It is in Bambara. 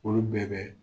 Olu bɛɛ bɛ